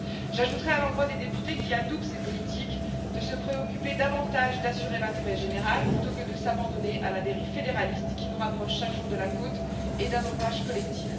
J'ajouterai à l'endroit des députés qui adoubent ces politiques qu'ils feraient mieux de se préoccuper davantage d'assurer l'intérêt général plutôt que de s'abandonner à la dérive fédéraliste qui nous rapproche chaque jour de la côte et d'un naufrage collectif.